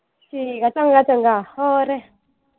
ਠੀਕ ਆ ਚੰਗਾ ਚੰਗਾ ਹੋਰ।